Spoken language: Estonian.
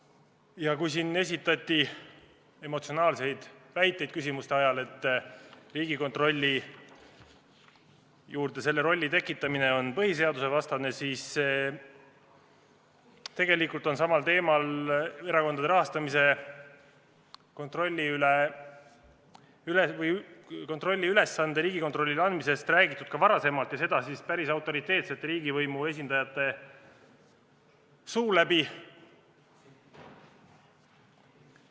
Siin kõlas küsimuste esitamise ajal emotsionaalseid väiteid, et Riigikontrollile selle rolli andmise on põhiseadusvastane, aga tegelikult on samal teemal ehk erakondade rahastamise kontrolli ülesande Riigikontrollile andmisest räägitud ka varem, ja seda päris autoriteetsete riigivõimuesindajate suu läbi.